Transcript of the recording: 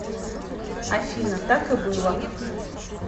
афина так и было